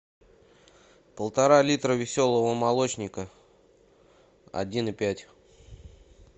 полтора литра веселого молочника один и пять